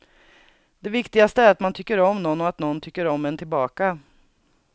Det viktigaste är att man tycker om någon och att någon tycker om en tillbaka.